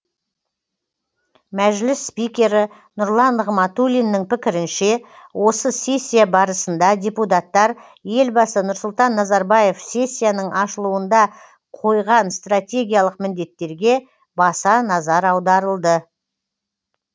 мәжіліс спикері нұрлан нығматулиннің пікірінше осы сессия барысында депутаттар елбасы нұрсұлтан назарбаев сессияның ашылуында қойған стратегиялық міндеттерге баса назар аударылды